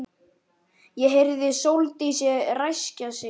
Ég heyrði Sóldísi ræskja sig.